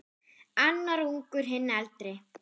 Annar ungur, hinn eldri.